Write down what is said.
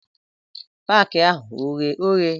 Paki ahụ oghe oghe?